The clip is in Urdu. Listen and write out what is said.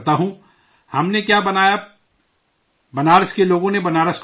ہم نے کیا بنایا جی، بنارس کے لوگوں نے بنارس کو بنایا ہے